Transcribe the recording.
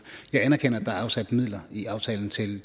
jeg anerkender at der er afsat midler i aftalen til